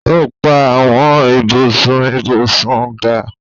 o pá Àwọn ibùsùn ibusùn dá.